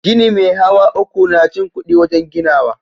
Gini me hawa uku na cin kudi wajen ginawa.